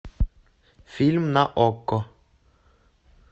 фильм на окко